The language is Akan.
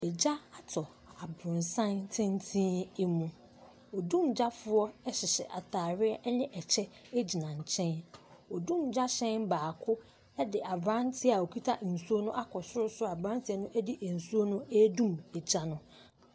Gya atɔ aborosan tenten mu. Dumgyafoɔ hyehyɛ atareɛ ne kyɛ gyina nkyɛn. Odumgya hyɛn baako de aberanteɛ a ɔkuta nsuo no akɔ sorosoro aberanteɛ no de nsuo no redum gya no.